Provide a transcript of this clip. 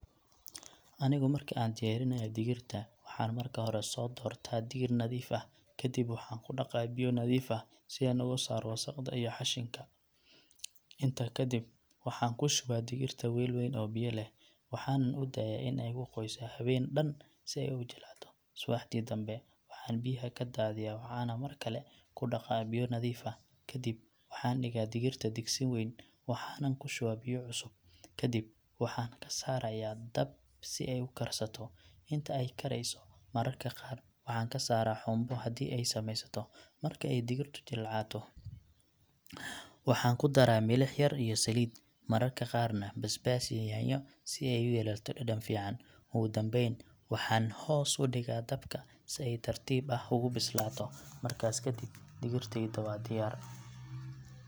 Anigu marki aan diyaarinayo digirta, waxaan marka hore soo doortaa digir nadiif ah. Kadib, waxaan ku dhaqaa biyo nadiif ah si aan uga saaro wasakhda iyo xashinka. Intaa kadib, waxaan ku shubaa digirta weel wayn oo biyo leh, waxaanan u daayaa in ay ku qoyso habeen dhan si ay u jilcado. Subaxdii dambe, waxaan biyaha ka daadiyaa, waxaanan mar kale ku dhaqaa biyo nadiif ah. Kadib, waxaan dhigaa digirta digsi wayn, waxaanan ku shubaa biyo cusub, kadib waxaan saaraya dab si ay u karsato. Inta ay karayso, mararka qaar waxaan ka saaraa xumbo haddii ay samaysato. Marka ay digirtu jilcato, waxaan ku daraa milix yar iyo saliid, mararka qaarna basbaas iyo yaanyo si ay u yeelato dhadhan fiican. Ugu dambayn, waxaan hoos u dhigaa dabka si ay tartiib ah ugu bislaato. Markaas ka dib, digirteyda waa diyaar.